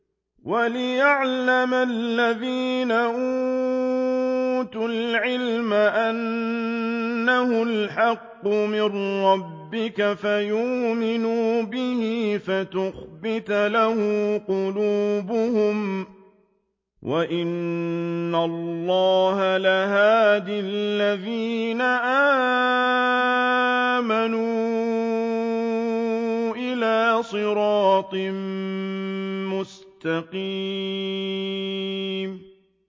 وَلِيَعْلَمَ الَّذِينَ أُوتُوا الْعِلْمَ أَنَّهُ الْحَقُّ مِن رَّبِّكَ فَيُؤْمِنُوا بِهِ فَتُخْبِتَ لَهُ قُلُوبُهُمْ ۗ وَإِنَّ اللَّهَ لَهَادِ الَّذِينَ آمَنُوا إِلَىٰ صِرَاطٍ مُّسْتَقِيمٍ